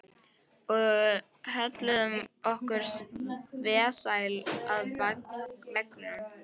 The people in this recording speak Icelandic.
Og hölluðum okkur vesæl að veggnum.